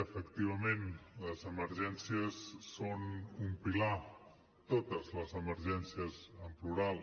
efectivament les emergències són un pilar totes les emergències en plural